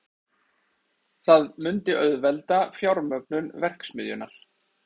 Það myndi auðvelda fjármögnun verksmiðjunnar